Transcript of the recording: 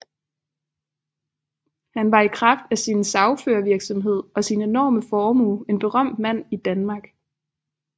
Han var i kraft af sin sagførervirksomhed og sin enorme formue en berømt mand i Danmark